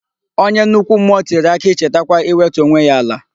Onye nnukwu mmụọ tiri akị chetakwa iwetu onwe ya ala.